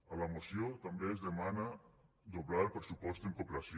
a la moció també es demana doblar el pressupost en cooperació